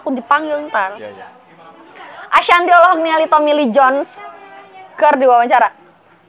Ashanti olohok ningali Tommy Lee Jones keur diwawancara